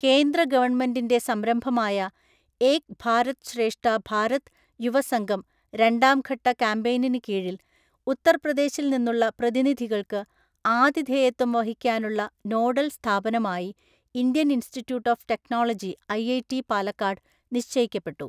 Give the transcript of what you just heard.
കേന്ദ്രഗവൺമെന്റിന്റെ സംരംഭമായ ഏക് ഭാരത് ശ്രേഷ്ഠ ഭാരത് യുവസംഗം രണ്ടാം ഘട്ട കാമ്പെയ്നിന് കീഴിൽ ഉത്തർപ്രദേശിൽ നിന്നുള്ള പ്രതിനിധികൾക്ക് ആതിഥേയത്വം വഹിക്കാനുള്ള നോഡൽ സ്ഥാപനം ആയി Indian Institute of Technology IIT Palakkad നിശ്ചയിക്കപ്പെട്ടു.